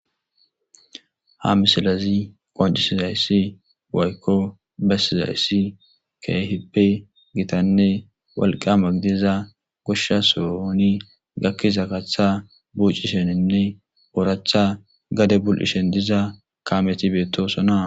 Ha misilazi qoncisizayssi waykko besizayssi keehippe gitanne walqa magidiza goshsha sooni gakkiza kacththa bucisheninne ooracha gade bul7ishen diza kameti beettosona.